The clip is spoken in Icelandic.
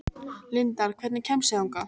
Lindar, hvernig kemst ég þangað?